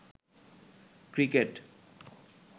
cricket